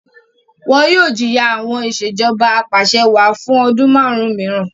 Wọn yoo jiya awọn Ìṣèjọba Apàṣẹwàá fun ọdun marun miiran